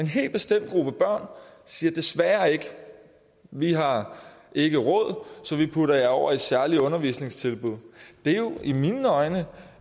helt bestemt gruppe børn og siger desværre vi har ikke råd så vi putter jer over i særlige undervisningstilbud det er jo i mine øjne